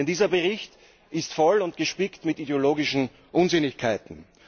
Denn dieser Bericht ist gespickt mit ideologischen Unsinnigkeiten.